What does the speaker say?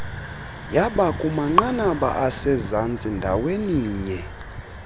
yabakumanqanaba asezantsi ndaweninye